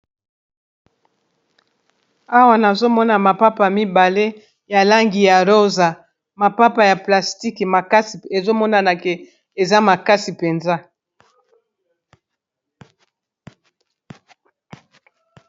Awa nazomona mapapa mibale ya langi ya rosa mapapa ya plastique makasi ezomonana ke eza makasi mpenza.